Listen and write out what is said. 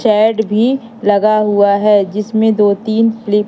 Chad भी लगा हुआ है जिसमें दो तीन फीलिप--